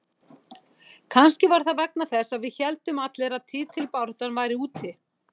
Kannski var það vegna þess að við héldum allir að titilbaráttan væri úti.